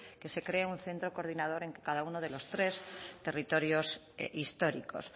que se cree un centro coordinador en que cada uno de los tres territorios históricos